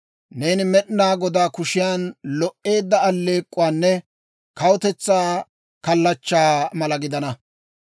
Neeni Med'inaa Godaa kushiyan lo"eedda aleek'k'uwaanne kawutetsaa kallachchaa mala gidana.